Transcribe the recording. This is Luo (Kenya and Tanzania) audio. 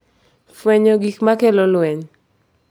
Fwenyo gik ma kelo lweny